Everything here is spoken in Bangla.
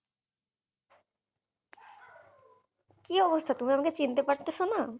কি অবস্থা তুমি আমাকে চিনতে পারতেছো না?